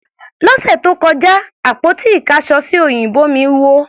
Lọ́sẹ̀ tó kọjá, àpótí ìkáṣọsí òyìnbó mí wó.